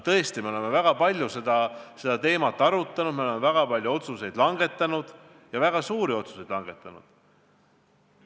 Tõesti, me oleme väga palju seda teemat arutanud, me oleme väga palju otsuseid langetanud, ja väga suuri otsuseid langetanud.